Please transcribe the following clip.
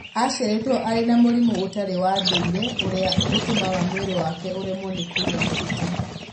Aciarĩtwo arĩ na mũrimũ ũtarĩ wa ndũire ũrĩa ũtũmaga mwĩrĩ wake ũremwo nĩ kũiga maguta.